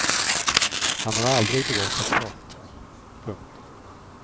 Han har aldrig begått ett brott. punkt